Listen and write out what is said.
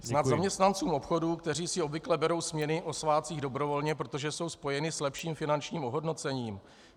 Snad zaměstnancům obchodu, kteří si obvykle berou směny o svátcích dobrovolně, protože jsou spojeny s lepším finančním ohodnocením?